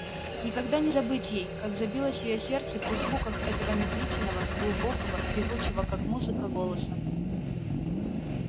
никогда не забыть ей как забилось её сердце при звуках этого медлительного глубокого певучего как музыка голоса